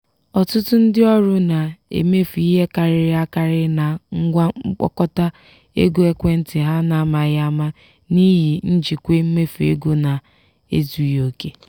ọtụtụ ndị ọrụ na-emefu ihe karịrị akarị na ngwa mkpokọta ego ekwentị ha n'amaghị ama n'ihi njikwa mmefu ego na-ezughị oke.